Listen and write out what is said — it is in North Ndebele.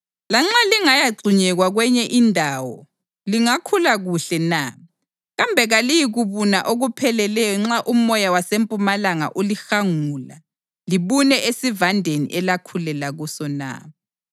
Lanxa lingayagxunyekwa kwenye indawo lingakhula kuhle na? Kambe kaliyikubuna okupheleleyo nxa umoya wasempumalanga ulihangula libune esivandeni elakhulela kuso na?’ ”